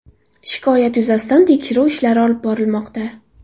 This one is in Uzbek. Shikoyat yuzasidan tekshiruv ishlari olib borilmoqda.